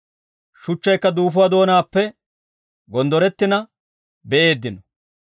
Shuchchaykka duufuwaa doonaappe gonddorettina be'eeddino.